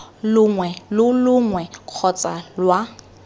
longwe lo longwe kgotsa lwa